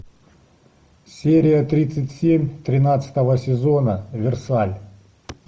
серия тридцать семь тринадцатого сезона версаль